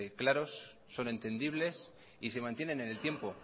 claros son entendibles y se mantienen en el tiempo